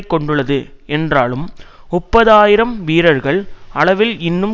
கொண்டுள்ளது என்றாலும் முப்பது ஆயிரம் வீரர்கள் அளவில் இன்னும்